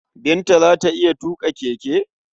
Binta za ta iya tuƙa keke?